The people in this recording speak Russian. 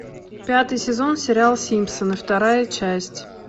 пятый сезон сериал симпсоны вторая часть